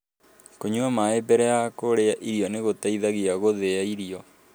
Kũnyua maĩ mbere ya kũrĩa irio nĩ gũteithagia gũthia irio.